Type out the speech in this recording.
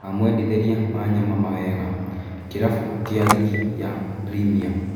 "Tũramwendithĩria Wanyama mawega," kĩrabũ kĩu kĩa rigi ya Primia.